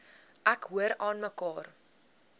ek hoor aanmekaar